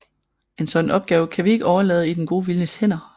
En sådan opgave kan vi ikke overlade i den gode viljes hænder